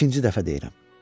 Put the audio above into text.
İkinci dəfə deyirəm.